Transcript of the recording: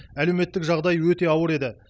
әлеуметтік жағдай өте ауыр еді